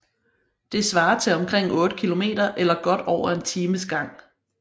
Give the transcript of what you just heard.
Det svarer til omkring 8 km eller godt over en times gang